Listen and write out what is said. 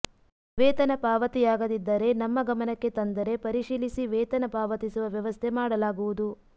ವೇತನ ಪಾವತಿಯಾಗದ್ದಿದರೆ ನಮ್ಮ ಗಮನಕ್ಕೆ ತಂದರೆ ಪರಿಶೀಲಿಸಿ ವೇತನ ಪಾವತಿಸುವ ವ್ಯವಸ್ಥೆ ಮಾಡಲಾಗುವುದು